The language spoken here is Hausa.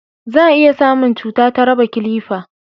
za a iya samun cuta ta raba kilifa